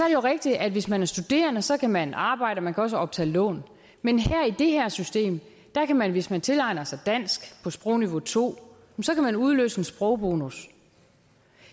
jo rigtigt at hvis man er studerende så kan man arbejde og man kan også optage lån men i det her system kan man hvis man tilegner sig dansk på sprogniveau to udløse en sprogbonus